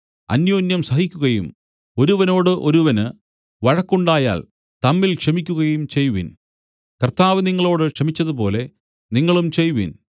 അന്യോന്യം സഹിക്കുകയും ഒരുവനോട് ഒരുവന് വഴക്കുണ്ടായാൽ തമ്മിൽ ക്ഷമിക്കയും ചെയ്‌വിൻ കർത്താവ് നിങ്ങളോട് ക്ഷമിച്ചതുപോലെ നിങ്ങളും ചെയ്‌വിൻ